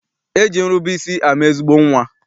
E ji nrube isi ama ezigbo nnwa.